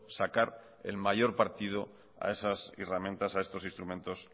sacar el mayor partido a esas herramientas a estos instrumentos